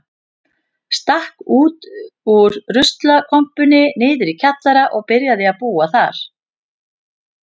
Stakk út úr ruslakompunni niðri í kjallara og byrjaði að búa þar.